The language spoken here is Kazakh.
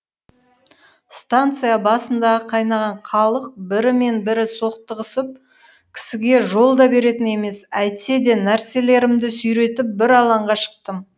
станция басындағы қайнаған халық бірі мен бірі соқтығысып кісіге жол да беретін емес әйтсе де нәрселерімді сүйретіп бір алаңға шықтым